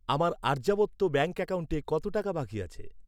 আমার আর্যাবর্ত ব্যাঙ্ক অ্যাকাউন্টে কত টাকা বাকি আছে?